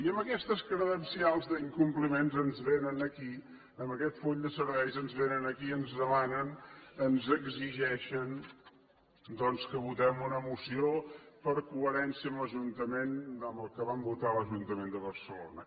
i amb aquestes credencials d’incompliments ens vénen aquí amb aquest full de serveis i ens demanen ens exigeixen que votem una moció per coherència amb el que vam votar a l’ajuntament de barcelona